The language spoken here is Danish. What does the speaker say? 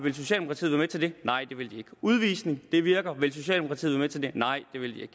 nej det vil de ikke udvisning virker vil socialdemokratiet være med til det nej det vil de